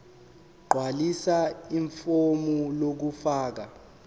gqwalisa ifomu lokufaka